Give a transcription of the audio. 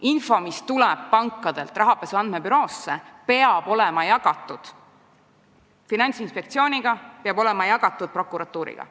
Infot, mis tuleb pankadelt rahapesu andmebüroosse, peab jagama Finantsinspektsiooniga, peab jagama prokuratuuriga.